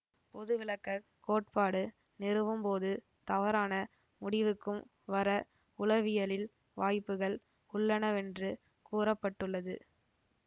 பொதுவிளக்கக் கோட்பாடு நிறுவும்போது தவறான முடிவுக்கும் வர உளவியலில் வாய்ப்புகள் உள்ளனவென்று கூற பட்டுள்ளது